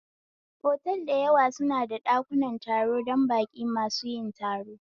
Otal dayawa suna da ɗakunan taro dan baƙin masu son yin taro